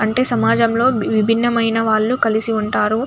సమాజంలో విభిన్న ఆయన వాలు కలిసి ఉంటారు.